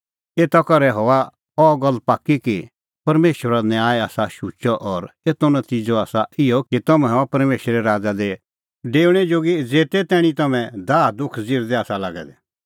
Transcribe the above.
एता करै हआ अह गल्ल पाक्की कि परमेशरो न्याय आसा शुचअ और एतो नतिज़अ हआ इहअ कि तम्हैं हआ परमेशरे राज़ा दी डेऊणैं जोगी ज़ेते तैणीं तम्हैं दाहदुख ज़िरदै आसा लागै दै